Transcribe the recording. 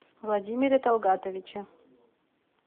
владимире талгатовиче